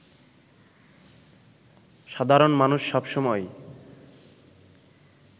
সাধারণ মানুষ সব সময়ই